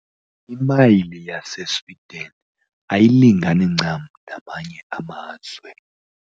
Imayile yaseSwidini ayilingani ncam neyamanye amazwe.